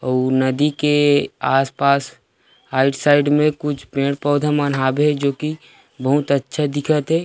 अउ नदी के आस-पास आइड साइड में कुछ पेड़-पौधा मन हावे जो कि बहुत ही अच्छा दिखत हे।